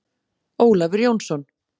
Ólafur Jónsson.